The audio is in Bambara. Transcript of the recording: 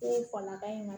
E ye falaka in